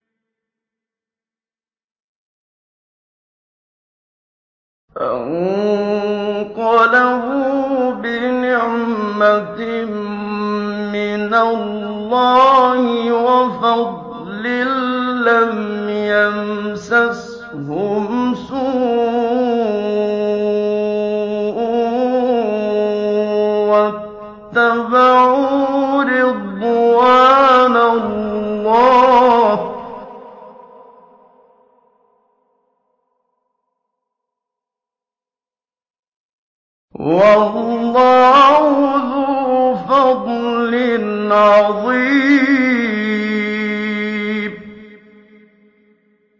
فَانقَلَبُوا بِنِعْمَةٍ مِّنَ اللَّهِ وَفَضْلٍ لَّمْ يَمْسَسْهُمْ سُوءٌ وَاتَّبَعُوا رِضْوَانَ اللَّهِ ۗ وَاللَّهُ ذُو فَضْلٍ عَظِيمٍ